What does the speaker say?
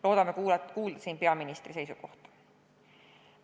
Loodame kuulda peaministri seisukohta.